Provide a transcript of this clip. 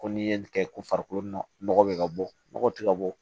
Ko n'i ye nin kɛ ko farikolo nɔgɔ bɛ ka bɔ nɔgɔ tɛ ka bɔ